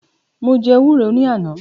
Mo jẹ́ ewúro ní àná